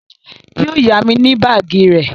Yó yá mi ní báàgì rẹ